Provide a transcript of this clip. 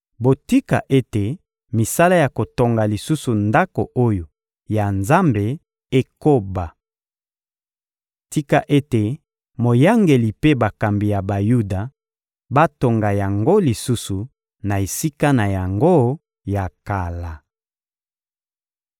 Botika ete misala ya kotonga lisusu Ndako oyo ya Nzambe ekoba. Tika ete moyangeli mpe bakambi ya Bayuda batonga yango lisusu na esika na yango ya kala.